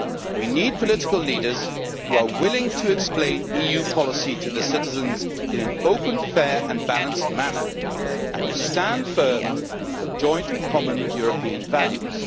We need political leaders who are willing to explain EU policy to the citizens in an open, fair and balanced manner, and who will stand firm for joint and common European values.